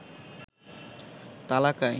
তালাক আইন